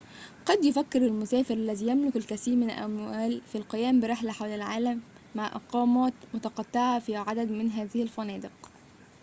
قد يفكر المسافر الذي يملك الكثير من الأموال في القيام برحلة حول العالم مع إقامات متقطعة في عدد من هذه الفنادق